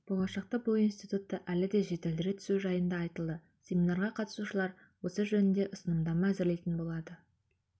болашақта бұл институтты әлі де жетілдіре түсу жайында айтылды семинарға қатысушылар осы жөнінде ұсынымдама әзірлейтін болады